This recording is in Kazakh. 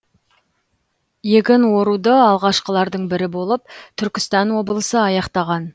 егін оруды алғашқылардың бірі болып түркістан облысы аяқтаған